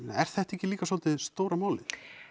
er þetta ekki líka svolítið stóra málið